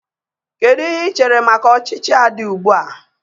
Kedu ihe ị chere maka ọchịchị a dị ugbu a?